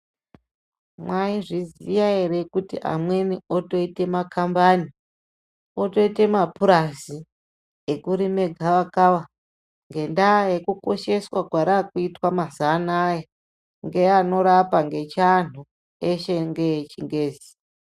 Mwaizviziya ere kuti amweni otoite makambani otoite mapurazi ekurime gavakava ngendaa yekukosheswa kwarakuitwa mazuwa anaya ngeanorapa ngechianhu eshe ngechingezi.